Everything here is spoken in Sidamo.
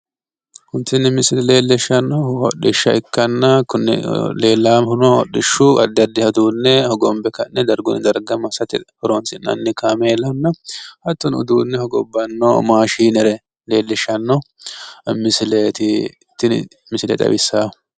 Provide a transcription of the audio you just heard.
Tini misile leelishshannohu hodhishsha ikkanna konne leellaaahuno hodhishshu addi addiha uduunne hogonbe ka'ne dargunni darga massate horonsinnanni kaameelanna hattono uduunne hogobbanno mashiinere leellishshanno misileeti tini misile xawissaahu.